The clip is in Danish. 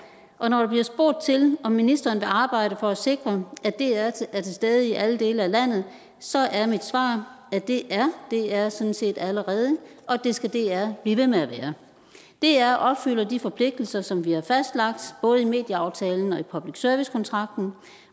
og når der bliver spurgt til om ministeren vil arbejde for at sikre at dr er til stede i alle dele af landet så er mit svar at det er dr sådan set allerede og det skal dr blive ved med at være dr opfylder de forpligtelser som vi har fastlagt både i medieaftalen og i public service kontrakten